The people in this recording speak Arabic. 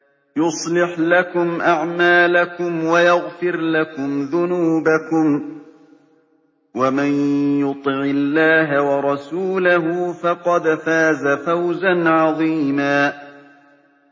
يُصْلِحْ لَكُمْ أَعْمَالَكُمْ وَيَغْفِرْ لَكُمْ ذُنُوبَكُمْ ۗ وَمَن يُطِعِ اللَّهَ وَرَسُولَهُ فَقَدْ فَازَ فَوْزًا عَظِيمًا